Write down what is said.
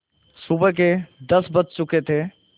सुबह के दस बज चुके थे